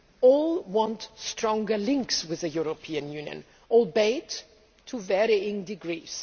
all want stronger links with the European Union, albeit to varying degrees.